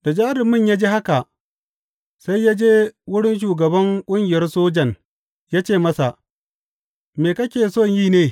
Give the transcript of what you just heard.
Da jarumin ya ji haka sai ya je wurin shugaban ƙungiyar sojan ya ce masa, Me kake so yi ne?